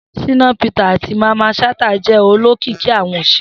Shina Peters ati Mamman Shata jẹ olokiki awọn oṣere.